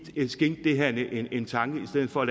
skænke det her en tanke i stedet for